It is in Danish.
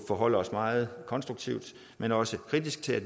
forholde os meget konstruktivt men også kritisk til at